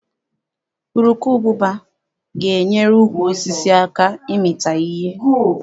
Urukubụba ga-enyere ukwu osisi aka ịmịta ihe.